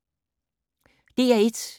DR1